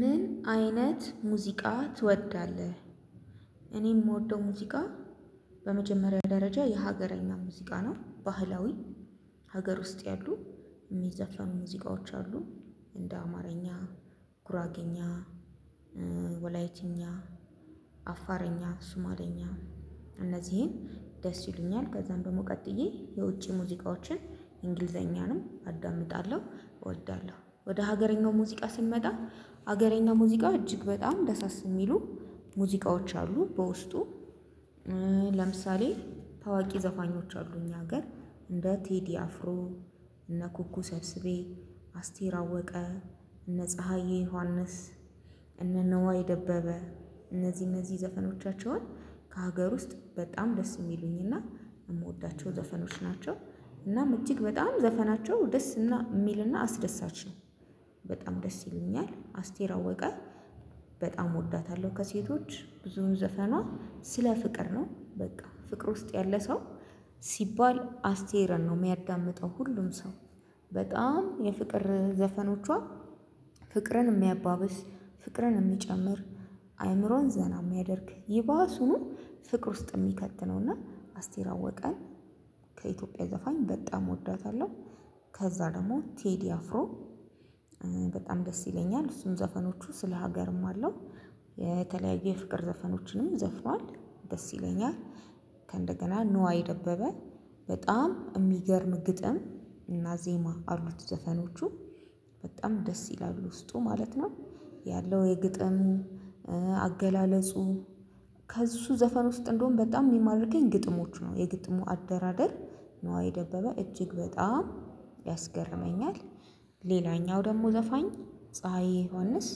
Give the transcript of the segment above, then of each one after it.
ምን አይነት ሙዚቃ ትወዳለህ? እኔ የምወደው ሙዚቃ በመጀመሪያ ደረጃ የሀገረኛ ሙዚቃ ነው። ባህላዊ ሀገር ውስጥ ያሉ የሚዘፈኑ ሙዚቃዎች አሉ። እንደ አማርኛ ጉራግኛ ወላይትኛ አፋርኛ ሱማለኛ እነዚህን ደስ ይሉኛል። ከዛም ደግሞ ቀጥዬ የውጪ ሙዚቃዎችን እንግሊዘኛንም አዳምጣለሁ እወዳለሁ። ወደ ሀገረኛው ሙዚቃ ስንመጣ ሀገረኛው ሙዚቃ እጅግ በጣም ደሳስ የሚሉ ሙዚቃዎች አሉ። በውስጡ ለምሳሌ ታዋቂ ዘፋኞች አሉ እኛ ሀገር እንደ ቴዲ አፍሮ እነ ኩኩ ሰብስቤ አስቴር አወቀ እነ ፀሀዬ ዮሐንስ እነ ነዋይ ደበበ እነዚህ እነዚህ ዘፈኖቻቸውን ከሀገር ውስጥ በጣም ደስ የሚሉኝና የምወዳቸው ዘፈኖች ናቸው። እናም እጅግ በጣም ዘፈናቸው ደስ የሚልና አስደሳች ነው። በጣም ደስ ይሉኛል አስቴራ አወቀ በጣም እወዳታለሁ። ከሴቶች ብዙውን ዘፈኗ ስለ ፍቅር ነው በቃ ፍቅር ውስጥ ያለ ሰው ሲባል አስቴርን ነው የሚያዳምጠው ሁሉም ሰው። በጣም የፍቅር ዘፈኖቿ ፍቅርን የሚያባብስ ፍቅርን የሚጨምር አይምሮን ዘና የሚያደርግ ይባሱኑ ፍቅር ውስጥ የሚከት ነውና። አስቴር አወቀን ከኢትዮጵያ ዘፋኝ በጣም እወዳታለሁ። ከዛ ደግሞ ቴዲ አፍሮ በጣም ደስ ይለኛል እሱን ዘፈኖቹ ስለ ሀገርም አለው የተለያየ ፍቅር ዘፈኖችንም ዘፍኗል ደስ ይለኛል። ከእንደገና ንዋይ ደበበ በጣም የሚገርም ግጥም እና ዜማ አሉት ዘፈኖቹ በጣም ደስ ይላል ውስጡ ማለት ነው። ያለው የግጥሙ አገላለጹ ከእሱ ዘፈን ውስጥ እንደውም በጣም የሚማርከኝ ግጥሞቹ ነው የግጥሙ አደራደር ነዋይ ደበበ እጅግ በጣም ያስገርመኛል። ሌላኛው ደግሞ ዘፋኝ ፀሀዬ ዮሐንስ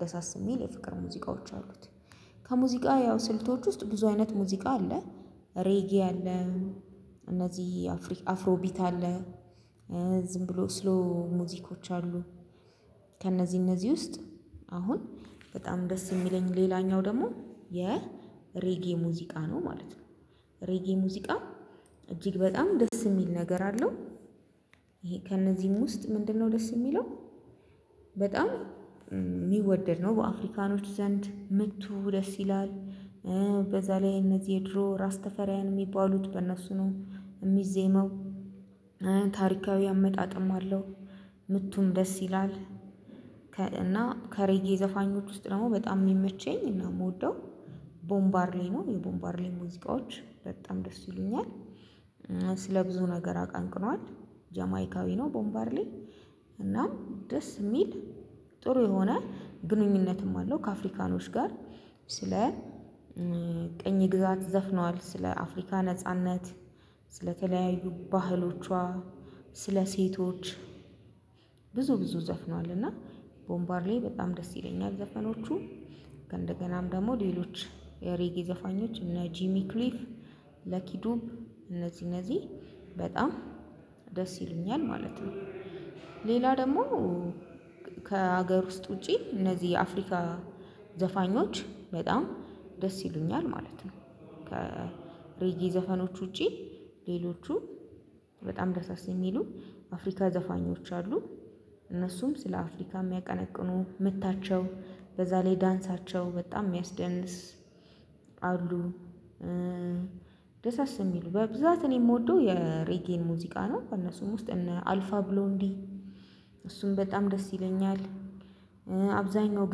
ደሳስ የሚል የፍቅር ሙዚቃዎች አሉት። ከሙዚቃ ያው ስልቶች ውስጥ ብዙ አይነት ሙዚቃ አለ። ሬጌ አለ። እነዚህ አፍሮቢት አለ። ዝም ብሎ ስሎ ሙዚኮች አሉ። ከእነዚህ እነዚህ ውስጥ አሁን በጣም ደስ የሚለኝ ሌላኛው ደግሞ የሬጌ ሙዚቃ ነው ማለት ነው። ሬጌ ሙዚቃ እጅግ በጣም ደስ የሚል ነገር አለው። ይሄ ከእነዚህም ውስጥ ምንድነው ደስ የሚለው? በጣም የሚወደድ ነው በአፍሪካኖች ዘንድ ምቱ ደስ ይላል። በዛ ላይ እነዚህ የድሮ ራስ ተፈሪያን የሚባሉት በእነሱ ነው የሚዜመው። ታሪካዊ አመጣጥም አለው። ምቱም ደስ ይላል። እና ከሬጌ ዘፋኞች ውስጥ ደግሞ በጣም የሚመቸኝ እና የምወደው ቦምባርሌ ነው የቦምባርሌ ሙዚቃዎች በጣም ደስ ይሉኛል። ስለ ብዙ ነገር አቀንቅኗል ጀማይካዊ ነው ቦምባርሌ እናም ደስ የሚል ጥሩ የሆነ ግንኙነትም አለው ከአፍሪካኖች ጋር። ስለ ቀኝ ግዛት ዘፍነዋል ስለ አፍሪካ ነጻነት ስለተለያዩ ባህሎቿ ስለሴቶች ብዙ ብዙ ዘፍኗል እና ቦምባርሌ በጣም ደስ ይለኛል ዘፈኖቹ። ከእንደገናም ደግሞ ሌሎች የሬጌ ዘፋኞች እነ ጂሚ ክሊፍ ለኪዶፕ እነዚህ እነዚህ በጣም ደስ ይሉኛል ማለት ነው። ሌላ ደግሞ ከሀገር ውስጥ ውጪ እነዚህ የአፍሪካ ዘፋኞች በጣም ደስ ይሉኛል ማለት ነው። ከሬጌ ዘፈኖች ውጪ ሌሎቹ በጣም ደሳስ የሚሉ አፍሪካ ዘፋኞች አሉ። እነሱም ስለ አፍሪካ የሚያቀነቅኑ ምታቸው በዛ ላይ ዳንሳቸው በጣም የሚያስደንስ አሉ። ደሳስ የሚሉ በብዛት እኔ የምወደው የሬጌን ሙዚቃ ነው ከእነሱም ውስጥ እነ አልፋ ብሎንዲ እሱም በጣም ደስ ይለኛል። አብዛኛው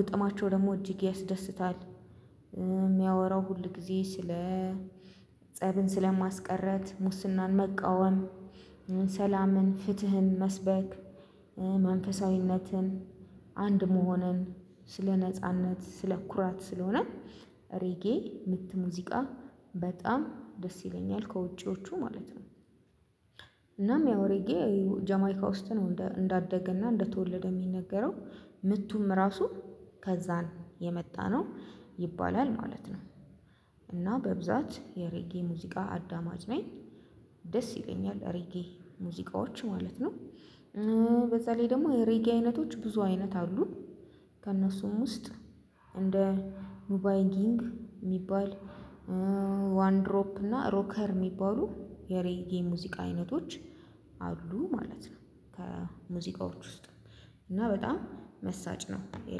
ግጥማቸው ደግሞ እጅግ ያስደስታል። የሚያወራው ሁል ጊዜ ስለ ፀብን ስለማስቀረት ሙስናን መቃወም ሰላምን ፍትህን መስበክ። መንፈሳዊነትን አንድ መሆንን ስለ ነጻነት ስለ ኩራት ስለሆነ ሬጌ ምት ሙዚቃ በጣም ደስ ይለኛል ከውጪዎቹ ማለት ነው። እናም ያው ሬጌ ጀማይካ ውስጥ ነው እንዳደገና እንደተወለደ የሚነገረው ምቱም ራሱ ከዛን የመጣነው ይባላል ማለት ነው። እና በብዛት የሬጌ ሙዚቃ አዳማጭ ነኝ። ደስ ይለኛል ሬጌ ሙዚቃዎች ማለት ነው። በዛ ላይ ደግሞ የሬጌ አይነቶች ብዙ አይነት አሉ። ከእነሱም ውስጥ እንደ ኑባይ ጊንግ የሚባል ዋን ድሮፕ እና ሮከር የሚባሉ የሬጌ ሙዚቃ አይነቶች አሉ ማለት ነው። ከሙዚቃዎች ውስጥ እና በጣም መሳጭ ነው።